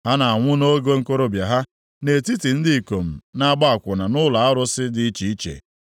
Ha na-anwụ nʼoge okorobịa ha, nʼetiti ndị ikom na-agba akwụna nʼụlọ arụsị dị iche iche.